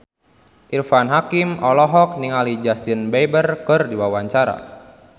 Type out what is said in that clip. Irfan Hakim olohok ningali Justin Beiber keur diwawancara